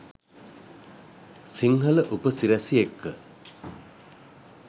සිංහල උප සිරැසි එක්ක